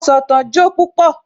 Asọ̀tàn jó púpọ̀